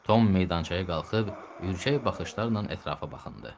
Tom meydançaya qalxıb ürkək baxışlarla ətrafa baxındı.